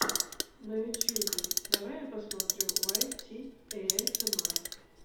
на ютюбе давай я посмотрю уайт ти эйэсэмар